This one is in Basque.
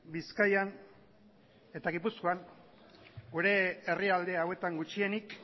bizkaian eta gipuzkoan gure herrialde hauetan gutxienik